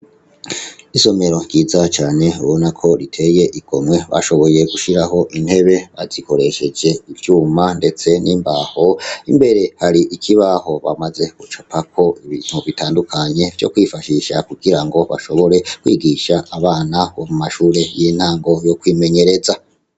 Isomero ryiza cane ubona ko riteye igomwe bashoboye gushiraho intebe bazikoresheje ivyuma ndetse n'imbaho mbere hari ikibaho bamaze gucapa ko ibintu bitandukanye vyo kwifashisha kugira ngo bashobore kwigisha abana bo mu mashure y'intango yo kwimenyereza.